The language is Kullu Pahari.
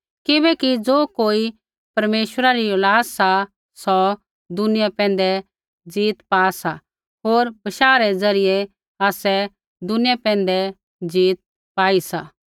किबैकि ज़ो कोई परमेश्वरा री औलाद सा सौ दुनिया पैंधै जीत पा सा होर बशाह रै ज़रियै आसै दुनिया पैंधै जीत पा सी